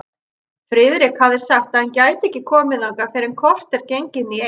Friðrik hafði sagt að hann gæti ekki komið þangað fyrr en kortér gengin í eitt.